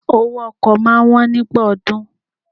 Owó ọkọ̀ máa wón nígbà ọdún.